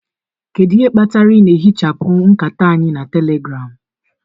Kedu ihe kpatara ị na-ehichapụ nkata anyị na telegram?